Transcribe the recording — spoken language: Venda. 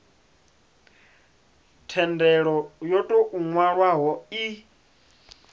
thendelo yo tou nwalwaho i